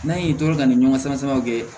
N'an ye to ka nin ɲɔgɔnna sama kɛ